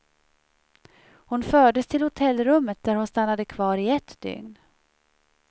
Hon fördes till hotellrummet där hon stannade kvar i ett dygn.